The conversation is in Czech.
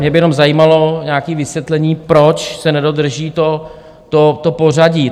Mě by jenom zajímalo nějaké vysvětlení, proč se nedodrží to pořadí.